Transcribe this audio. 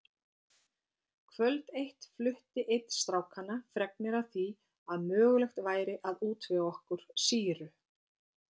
Kvöld eitt flutti einn strákanna fregnir af því að mögulegt væri að útvega okkur sýru.